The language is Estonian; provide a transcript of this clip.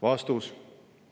" Vastus.